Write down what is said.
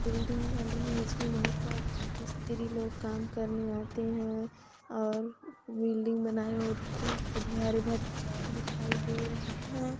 Building बन रही है इसमें बहुत सारे मिस्त्री लोग काम करने आते है और बिल्डिंग बना दिखाई दे रहे है।